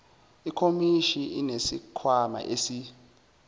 ikhomishini inesikhwama esi